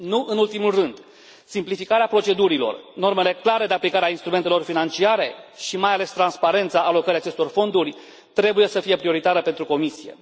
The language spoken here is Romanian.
Nu în ultimul rând, simplificarea procedurilor, normele clare de aplicare a instrumentelor financiare și, mai ales, transparența alocării acestor fonduri trebuie să fie prioritare pentru Comisie.